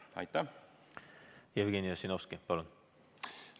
Jevgeni Ossinovski, palun!